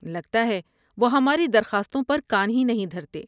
لگتا ہے وہ ہماری درخواستوں پر کان ہی نہیں دھرتے۔